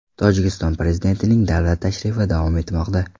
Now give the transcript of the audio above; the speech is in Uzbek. Tojikiston prezidentining davlat tashrifi davom etmoqda.